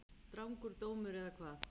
Strangur dómur eða hvað?